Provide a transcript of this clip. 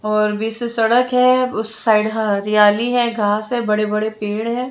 और बीच से सड़क है उस साइड हा हरियाली है घास है बड़े बड़े पेड़ हैं।